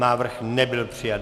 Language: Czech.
Návrh nebyl přijat.